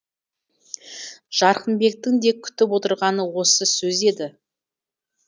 жарқынбектің де күтіп отырғаны осы сөз еді